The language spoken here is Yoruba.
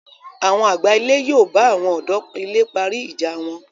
Àwọn àgbà ilé yóò bà àwọn ọ̀dọ́ ilé parí ìjà wọn